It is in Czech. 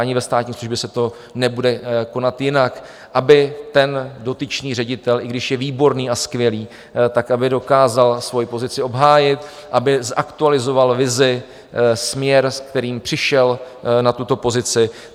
Ani ve státní službě se to nebude konat jinak, aby ten dotyčný ředitel, i když je výborný a skvělý, tak aby dokázal svoji pozici obhájit, aby zaktualizoval vizi, směr, s kterým přišel na tuto pozici.